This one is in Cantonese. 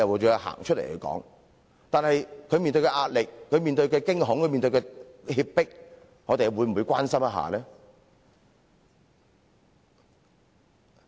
然而，他們所面對的壓力、驚恐和脅迫，我們又會否關心？